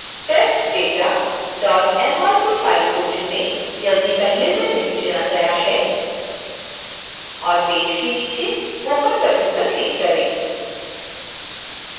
testdatamrc file को चुनें यदि पहले से नहीं चुना गया है और पेज के नीचे open बटन पर क्लिक करें